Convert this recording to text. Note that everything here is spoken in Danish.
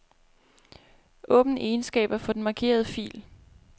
Åbn egenskaber for den markerede fil.